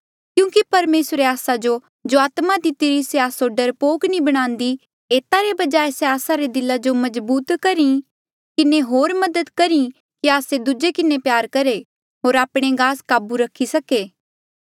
क्यूंकि परमेसरे आस्सा जो जो आत्मा दितिरी से आस्सो डरपोक नी बणान्दी एता रे बजाय से आस्सा रे दिला जो मजबूत करी किन्हें होर मदद कर कि आस्से दूजे किन्हें प्यार करहे होर आपणे गास काबू रखी सके